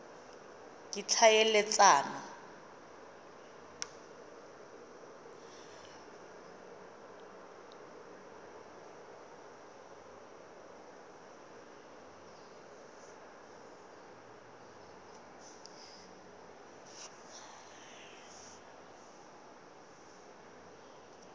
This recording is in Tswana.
ditlhaeletsano